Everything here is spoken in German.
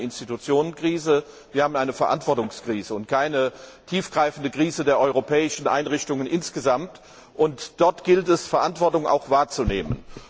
Wir haben eine Institutionenkrise, wir haben eine Verantwortungskrise, aber keine tiefgreifende Krise der europäischen Einrichtungen insgesamt, und dort gilt es, Verantwortung auch wahrzunehmen.